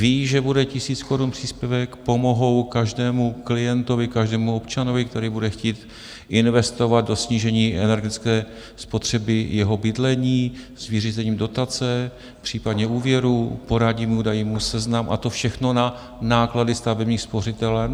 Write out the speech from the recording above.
Ví, že bude tisíc korun příspěvek, pomohou každému klientovi, každému občanovi, který bude chtít investovat do snížení energetické spotřeby jeho bydlení, s vyřízením dotace, případně úvěru, poradí mu, dají mu seznam, a to všechno na náklady stavebních spořitelen.